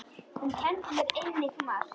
Hún kenndi mér einnig margt.